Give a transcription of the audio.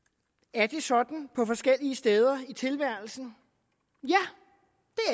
er det sådan på forskellige steder i tilværelsen